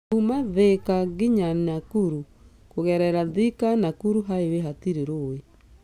Kuuma Thika ngina Nakuru kũgerera Thika-Nakuru Highway hatirĩ rũĩ.